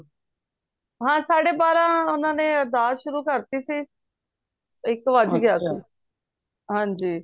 ਹਾਂ ਸਾਡੇ ਬਾਰਹ ਓਹਨਾ ਨੇ ਅਰਦਾਸ ਸ਼ੁਰੂ ਕਰਤੀ ਸੀ ਇੱਕ ਵੱਜ ਗਯਾ ਸੀ ਹਨਜੀ